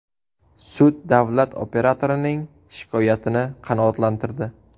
Sud davlat operatorining shikoyatini qanoatlantirdi.